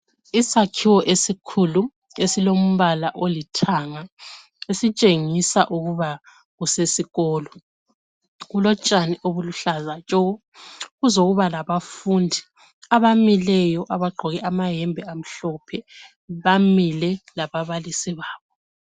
Isakhiwo esikhulu esilombala olithanga esitshengisa ukuba kusesikolo kulotshani obuluhlaza tshoko kuzokuba labafundi abamileyo abagqoke amayembe amhlophe bamile lababalisi babo.